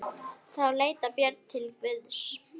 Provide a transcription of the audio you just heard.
Þá leitaði Björn til Guðs.